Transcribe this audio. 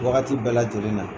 Wagati bɛɛ lajɛlen na.